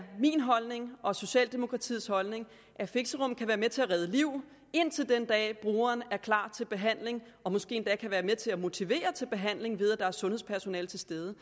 min holdning og socialdemokratiets holdning at fixerum kan være med til at redde liv indtil den dag brugeren er klar til behandling og måske endda kan være med til at motivere til behandling ved at der er sundhedspersonale til stede